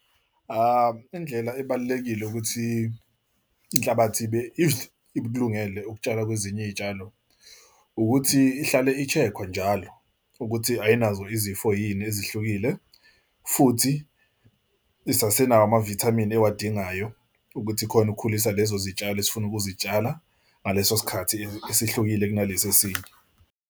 Indlela ebalulekile ukuthi inhlabathi ibe if ikulungele ukutshala kwezinye izitshalo ukuthi ihlale i-check-wa njalo ukuthi ayinazo izifo yini ezihlukile. Futhi isasenawo amavithamini ewadingayo ukuthi ikhona ukukhulisa lezo zitshalo esifuna ukuzitshala ngaleso sikhathi esihlukile kunalesi esinye.